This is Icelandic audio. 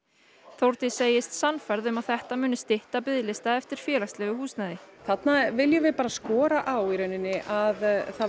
Þórdís segist sannfærð um að þetta muni stytta biðlista eftir félagslegu húsnæði þarna viljum við skora á að